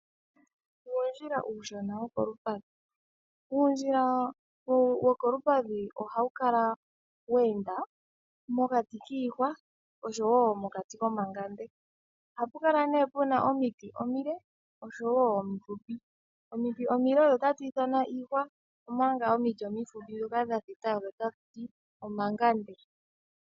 Uundjila uushona wokolupadhi Uundjila wokolupadhi ohawu kala weenda mokati kiihwa oshowo mokati komangande. Ohapu kala nee puna omiti omile oshowo omifupi. Omiti omile otadhi ithanwa iihwa omanga omiti omifupi ndhoka dhathita odho tatuti omangande.